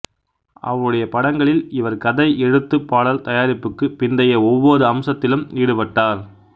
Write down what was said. அவருடைய படங்களில் இவர் கதை எழுத்து பாடல் தயாரிப்புக்குப் பிந்தைய ஒவ்வொரு அம்சத்திலும் ஈடுபட்டார்